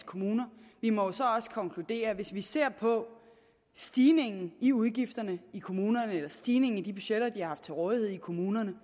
kommuner vi må så også konkludere at hvis vi ser på stigningen i udgifterne i kommunerne eller stigningen i de budgetter de har haft til rådighed i kommunerne